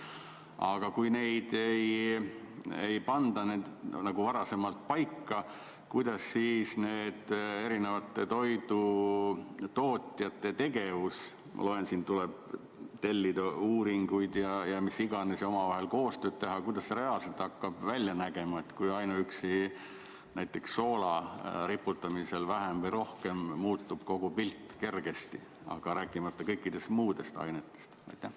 Aga kui neid ei panda varem paika, kuidas siis see erinevate toidutootjate tegevus – ma loen, siin tuleb tellida uuringuid ja mis iganes ja omavahel koostööd teha – reaalselt hakkab välja nägema, kui ainuüksi näiteks soola riputamisel vähem või rohkem muutub kogu pilt kergesti, rääkimata kõikidest muudest ainetest?